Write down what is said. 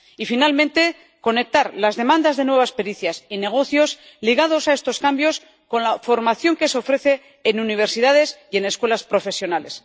Y, finalmente, conectar las demandas de nuevas pericias y negocios ligados a estos cambios con la formación que se ofrece en universidades y en escuelas profesionales.